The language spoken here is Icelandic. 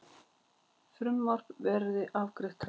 Frumvarp verði afgreitt hratt